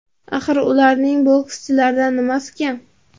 Axir ularning bokschilardan nimasi kam?.